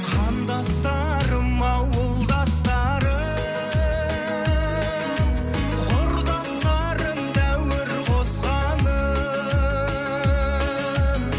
қандастарым ауылдастарым құрдастарым дәуір қосқаным